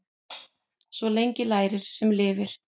Svo lengi lærir sem lifir.